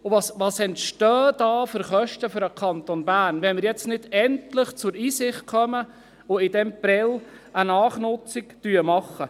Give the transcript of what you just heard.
Welche Kosten entstehen da für den Kanton Bern, wenn wir jetzt nicht endlich zur Einsicht kommen und in Prêles eine Nachnutzung machen?